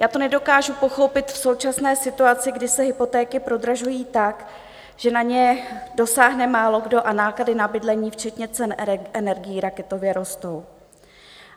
Já to nedokážu pochopit v současné situaci, kdy se hypotéky prodražují tak, že na ně dosáhne málokdo, a náklady na bydlení včetně cen energií raketově rostou.